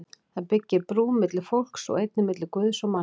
Það byggir brú milli fólks og einnig milli Guðs og manna.